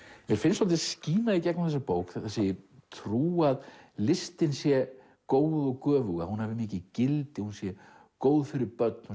mér finnst svolítið skína í gegnum þessa bók þessi trú að listin sé góð og göfug að hún hafi mikið gildi hún sé góð fyrir börn